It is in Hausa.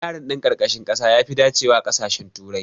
Wayarin ɗin ƙarƙashin ƙasa yafi dacewa a ƙasashen turai.